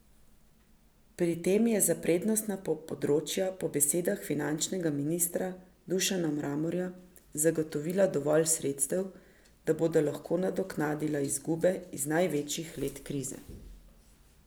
Pri tem je za prednostna področja po besedah finančnega ministra Dušana Mramorja zagotovila dovolj sredstev, da bodo lahko nadoknadila izgube iz največjih let krize.